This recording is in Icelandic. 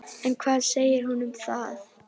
En hvað segir hún um það?